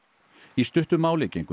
í stuttu máli gengu